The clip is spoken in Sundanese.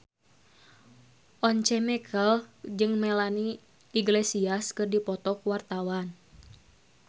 Once Mekel jeung Melanie Iglesias keur dipoto ku wartawan